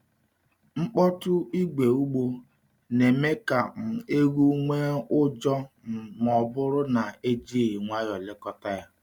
Mkpọtụ igwe ugbo na-eme ka um ewu nwee ụjọ um ma ọ bụrụ na e jighị nwayọọ lekọta ya.